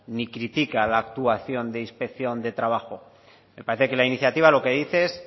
ni critica la actuación de inspección de trabajo me parece que la iniciativa lo que dice es